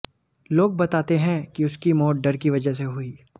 लोग बताते हैं कि उसकी मौत डर की वजह से हुई